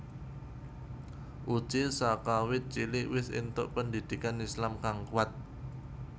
Uje sakawit cilik wis entuk pendhidhikan Islam kang kuat